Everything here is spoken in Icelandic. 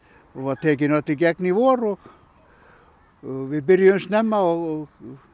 hún var tekin öll í gegn í vor og og við byrjuðum snemma og